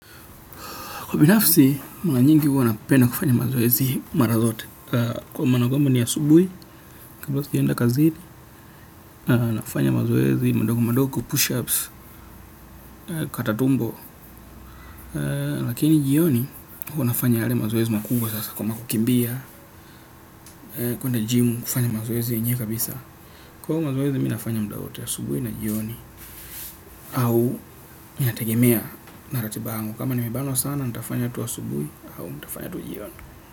Kwa binafsi, mara nyingi huwana penda kufanya mazoezi mara zote. Kwa maanakwamba ni a subuhi, kablasijaenda kazini, na fanya mazoezi, madogo madogo push-ups, katatumbo. Lakini jioni, huwanafanya yale mazoezi makubwa sasa kama kukimbia, kwenda jimu kufanya mazoezi yenyewe kabisa. Kwahiyo mazoezi, minafanya mdawote a subuhi na jioni, au inategemea narati bayangu. Kama ni mebanwa sana, nitafanya tu a subuhi, au nitafanya tu jioni.